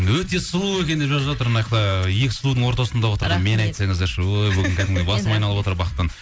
өте сұлу екен деп жазып жатыр мынаяқта екі сұлудың ортасында отырмын мені айтсаңыздаршы өй бүгін кәдімгідей басым айналып отыр бақыттан